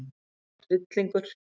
Það var hryllingur.